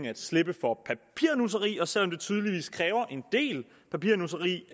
at slippe for papirnusseri og selv om det tydeligvis kræver en del papirnusseri